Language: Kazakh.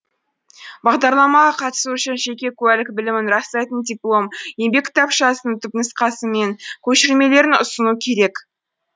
бағдарламаға қатысу үшін жеке куәлік білімін растайтын диплом еңбек кітапшасының түпнұсқасы мен көшірмелерін ұсыну керек